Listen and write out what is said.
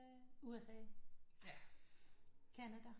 Sverige USA Canada